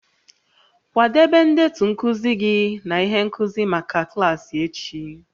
Kwadebe ndetu nkuzi gị na ihe nkuzi maka klaasị echi